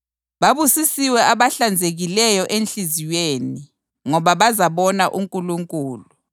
Babusisiwe abahlanzekileyo enhliziyweni ngoba bazabona uNkulunkulu.